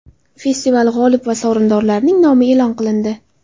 Festival g‘olib va sovrindorlarining nomi e’lon qilindi.